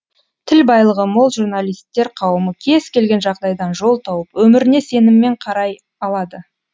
тіл байлығы мол журналисттер қауымы кез келген жағдайдан жол тауып өміріне сеніммен қарай алады